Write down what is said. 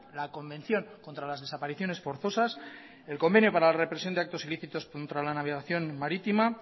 la convención contra las desapariciones forzosas el convenio para la represión de actos ilícitos contra la navegación marítima